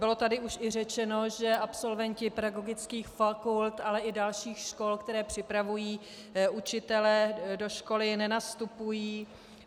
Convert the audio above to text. Bylo tady už i řečeno, že absolventi pedagogických fakult, ale i dalších škol, které připravují učitele, do školy nenastupují.